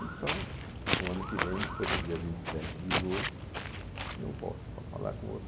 Então, o ano que vem, depois do dia vinte e sete de julho, eu volto para falar com você.